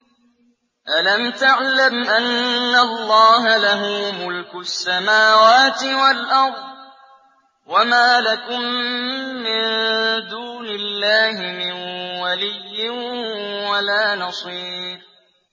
أَلَمْ تَعْلَمْ أَنَّ اللَّهَ لَهُ مُلْكُ السَّمَاوَاتِ وَالْأَرْضِ ۗ وَمَا لَكُم مِّن دُونِ اللَّهِ مِن وَلِيٍّ وَلَا نَصِيرٍ